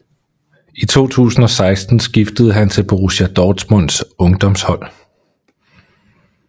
I 2016 skiftede han til Borussia Dortmunds ungdomshold